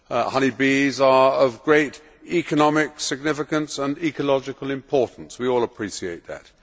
Honey bees are of great economic significance and ecological importance we all appreciate that.